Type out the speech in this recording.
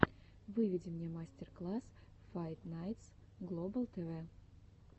выведи мне мастер класс файт найтс глобал тв